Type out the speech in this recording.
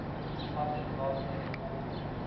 public largely supported